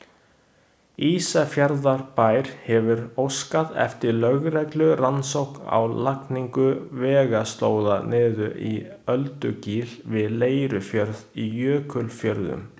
Ísafjarðarbær hefur óskað eftir lögreglurannsókn á lagningu vegaslóða niður í Öldugil við Leirufjörð í Jökulfjörðum.